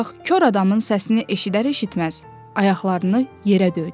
Ancaq kor adamın səsini eşidər-eşitməz ayaqlarını yerə döydü.